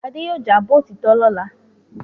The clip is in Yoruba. Adé yóò jábọ̀ òtítọ́ lọ́la.